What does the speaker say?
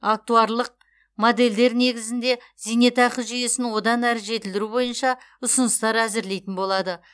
актуарлық модельдер негізінде зейнетақы жүйесін одан әрі жетілдіру бойынша ұсыныстар әзірлейтін болады